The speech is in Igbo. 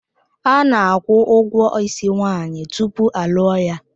Ana-akwụ ụgwọ ísí nwaanyị tupu a lụọ ya.